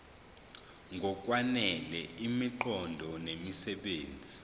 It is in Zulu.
ngokwanele imiqondo nemisebenzi